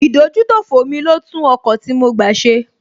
Ìdójútòfò mi ló tún ọkọ̀ tí mo gbá ṣe